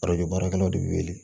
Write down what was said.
baarakɛlaw de bɛ wele